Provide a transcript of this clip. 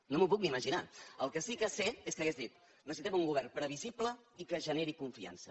no m’ho puc ni imaginar el que sí que sé és que hauria dit necessitem un govern previsible i que generi confiança